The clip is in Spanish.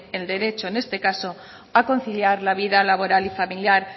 el derecho en este caso a conciliar la vida laboral y familiar